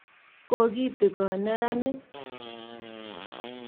Kokitigon meranik.